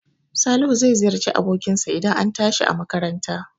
Salihu zai ziyarci abokin sa idan an tashi a makaranta